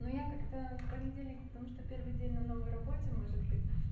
ну я как-то в понедельник потому что первый день на новой работе может быть